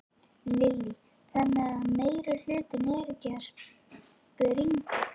Lillý: Þannig að meirihlutinn er ekkert að springa?